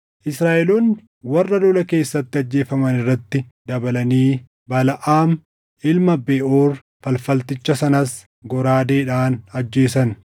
Israaʼeloonni warra lola keessatti ajjeefaman irratti dabalanii Balaʼaam ilma Beʼoor falfalticha sanas goraadeedhaan ajjeesan.